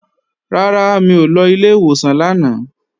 Rárá, mi ò lọ ilé ìwòsàn lánàá